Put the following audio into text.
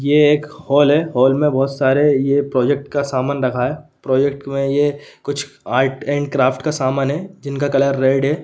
यह एक हॉल है हॉल मे बहुत सारे ये प्रोजेक्ट का समान रखा है प्रोजेक्ट मे ये कुछ आर्ट एंड क्राफ्ट का सामान है जिनका कलर रेड --